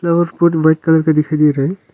और foot black colour का दिखाई दे रहे है।